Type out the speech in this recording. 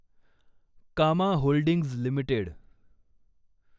कामा holdings limited